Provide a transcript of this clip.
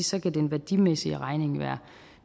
så kan den værdimæssige regning være